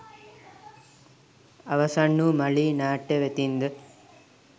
අවසන් වූ ”මලී” නාට්‍ය වෙතින්ද